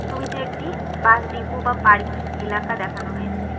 ছবিতে একটি bus depot বা পার্কিং এলাকা দেখানো হয়েছে।